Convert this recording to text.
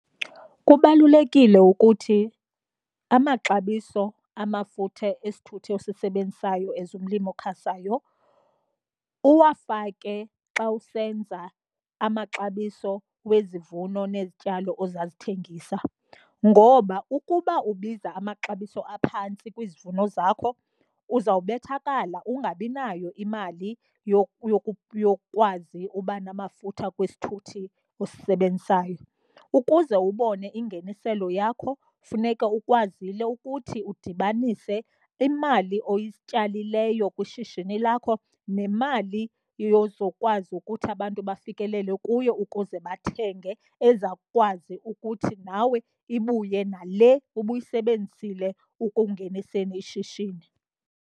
Kubalulekile ukuthi amaxabiso amafutha esithuthi osisebenzisayo as umlimi okhasayo uwafake xa usenza amaxabiso wezivuno nezityalo ozazithengisa, ngoba ukuba ubiza amaxabiso aphantsi kwizivuno zakho uzawubethakala ungabi nayo imali yokukwazi uba namafutha kwisithuthi osisebenzisayo. Ukuze ubone ingeniselo yakho funeka ukwazile ukuthi udibanise imali oyityalileyo kwishishini lakho nemali yozokwazi ukuthi abantu bafikelele kuyo ukuze bathenge ezawukwazi ukuthi nawe ibuye nale ubuyisebenzisile ekungeniseni ishishini.